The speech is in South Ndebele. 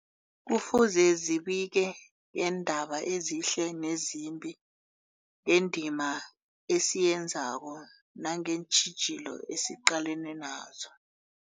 Kufuze zibike ngeendaba ezihle nezimbi, ngendima esiyenzako nangeentjhijilo esiqalene nazo.